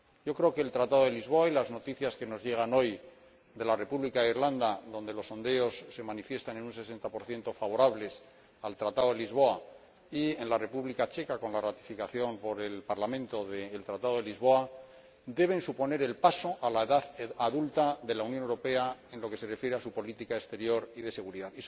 Creo que el Tratado de Lisboa y las noticias que nos llegan hoy de la República de Irlanda —donde los sondeos se manifiestan en un 60 favorables al Tratado de Lisboa— y de la República Checa —con la ratificación por el Parlamento del Tratado de Lisboa— deben suponer el paso a la edad adulta de la Unión Europea en lo que se refiere a su política exterior y de seguridad.